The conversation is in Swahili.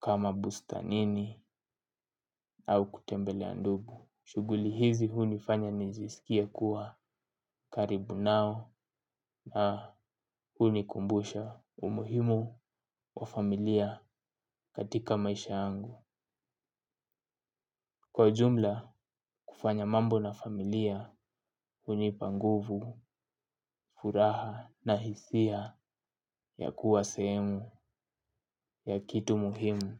kama bustanini au kutembelea ndugu. Shughuli hizi hunifanya nijisikie kuwa karibu nao. Na hunikumbusha umuhimu wa familia katika maisha yangu. Kwa jumla kufanya mambo na familia hunipa nguvu, furaha na hisia ya kuwa sehemu ya kitu muhimu.